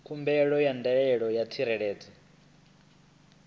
khumbelo ya ndaela ya tsireledzo